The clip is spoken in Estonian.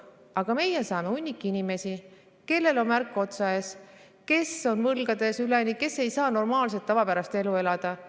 Aga meie saame hunniku inimesi, kellel on märk otsa ees, kes on üleni võlgades, kes ei saa normaalset, tavapärast elu elada.